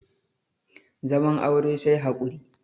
zaman aure sai haƙuri